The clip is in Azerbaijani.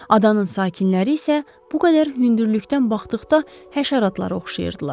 Adanın sakinləri isə bu qədər hündürlükdən baxdıqda həşəratlara oxşayırdılar.